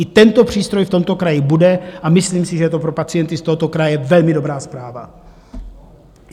I tento přístroj v tomto kraji bude a myslím si, že je to pro pacienty z tohoto kraje velmi dobrá zpráva.